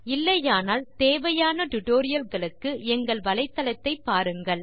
இல்லையானால் spoken tutorial வலைத்தளத்துக்கு சென்று தகுந்த ஜியோஜெப்ரா பாடங்களை பாருங்கள்